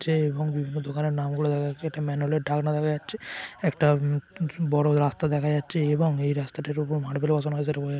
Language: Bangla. ছে এবং বিভিন্ন দোকানের নাম গুলো দেখা যাচ্ছে। একটা ম্যানহোলের ঢাকনা দেখা যাচ্ছে একটা উম উঁচু বড়ো রাস্তা দেখা যাচ্ছে এবং এই রাস্তাটির ওপর মার্বেল ও বসানো হয়েছে এটা বোঝা --